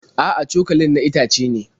A'a, cokalin na itace ne.